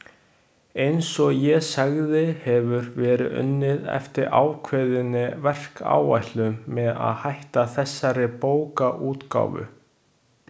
Eins og ég sagði hefur verið unnið eftir ákveðinni verkáætlun með að hætta þessari bókaútgáfu.